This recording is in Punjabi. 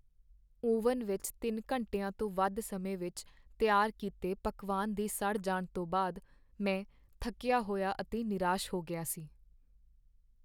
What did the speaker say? ਓਵਨ ਵਿੱਚ ਤਿੰਨ ਘੰਟਿਆਂ ਤੋਂ ਵੱਧ ਸਮੇਂ ਵਿੱਚ ਤਿਆਰ ਕੀਤੇ ਪਕਵਾਨ ਦੇ ਸੜ ਜਾਣ ਤੋਂ ਬਾਅਦ ਮੈਂ ਥੱਕਿਆ ਹੋਇਆ ਅਤੇ ਨਿਰਾਸ਼ ਹੋ ਗਿਆ ਸੀ।